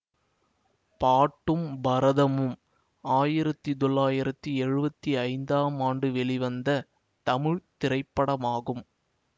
பாட்டும் பரதமும் ஆயிரத்தி தொள்ளாயிரத்தி எழுவத்தி ஐந்தாம் ஆண்டு வெளிவந்த தமிழ் திரைப்படமாகும்